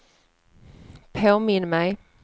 påminn mig